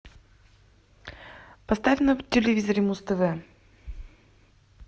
поставь на телевизоре муз тв